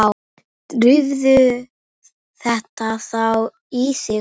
Drífðu þetta þá í þig.